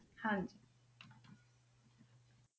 ਹਾਂਜੀ।